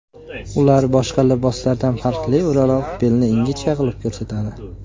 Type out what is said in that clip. Ular boshqa liboslardan farqli o‘laroq belni ingichka qilib ko‘rsatadi.